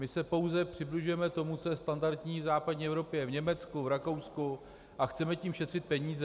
My se pouze přibližujeme tomu, co je standardní v západní Evropě, v Německu, v Rakousku, a chceme tím šetřit peníze.